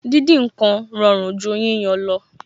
Díndín ǹkan rọrùn ju yíyan lọ